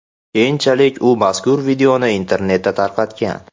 Keyinchalik u mazkur videoni internetda tarqatgan.